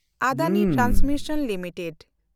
Adani transmission limited